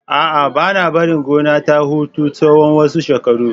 A'a, ba na barin gonar ta huta na tsawon wasu shekaru.